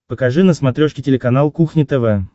покажи на смотрешке телеканал кухня тв